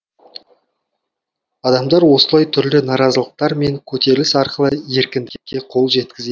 адамдар осылай түрлі наразылықтар мен көтеріліс арқылы еркіндікке қол жеткізеді